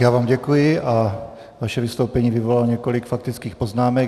Já vám děkuji a vaše vystoupení vyvolalo několik faktických poznámek.